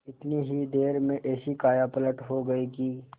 इतनी ही देर में ऐसी कायापलट हो गयी कि